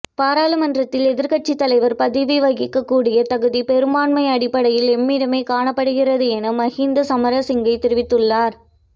பாராளுமன்றத்தில் எதிர்கட்சி தலைவர் பதவி வகிக்கக் கூடிய தகுதி பெரும்பாண்மை அடிப்படையில் எம்மிடமே காணப்படுகின்றது என மஹிந்த சமரசிங்க தெரிவித்துள்ளார்